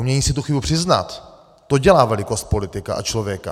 Umění si tu chybu přiznat, to dělá velikost politika a člověka.